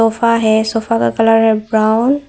Sofa है sofa का colour है ब्राउन ।